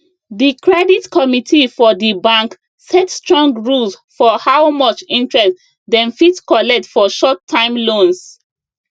the credit committee for the bank set strong rules for how much interest dem fit collect for short time loans